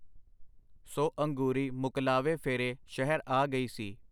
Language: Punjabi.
ਸੋ ਅੰਗੂਰੀ ਮੁਕਲਾਵੇ ਫੇਰੇ ਸ਼ਹਿਰ ਆ ਗਈ ਸੀ.